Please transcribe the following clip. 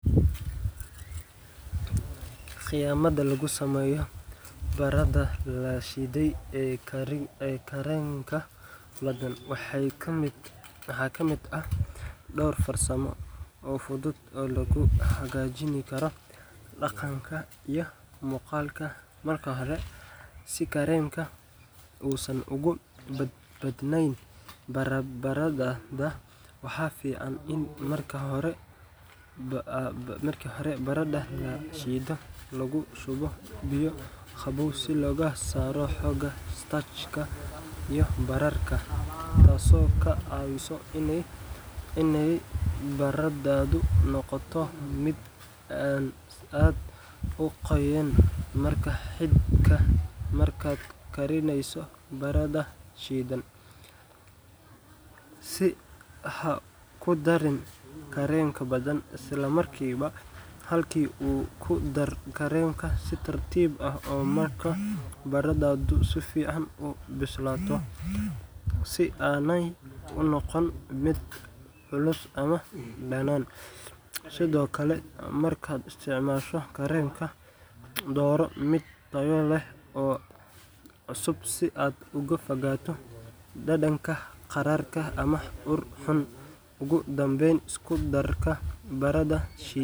Qiyamada lagu sameeyo barada lashiide, waxaa kamid ah dowr farsamo oo fudud oo lagu hagaajin Karo, waxaa fican in marka hore lagu shubo biya, inaay barada noqoto mid aad uqoyan, si haku darin Kareena badan, oogu dar si tartiib ah, si aay unoqon mid culus, dooro mid tayo leh oo cusub, ogu danbeyn isku darka barada.